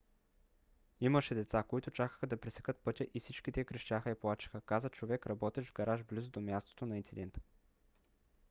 имаше деца които чакаха да пресекат пътя и всички те крещяха и плачеха каза човек работещ в гараж близо до мястото на инцидента